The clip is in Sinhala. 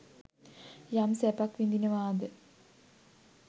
යම් සැපක් විඳිනවාද